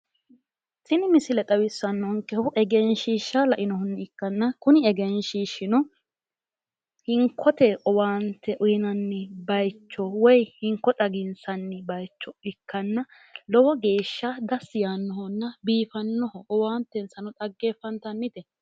Tini misile xawissannonkehu egenshiishsha la"inohunni ikkanna kuni egenshiishshino hinkote owaante uyiinanni bayiicho woy hinko xaginsanni bayiicho ikkanna lowo geeshsha dassi yaannohonna biifannoho owaantensano dhaggeeffantannite.